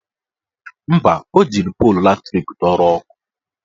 Mba, o jiri polu latrik dọrọ ọkụ